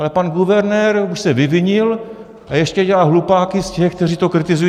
Ale pan guvernér už se vyvinil, a ještě dělá hlupáky z těch, kteří to kritizují.